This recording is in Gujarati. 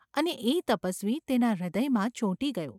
અને એ તપસ્વી તેના હૃદયમાં ચોંટી ગયો.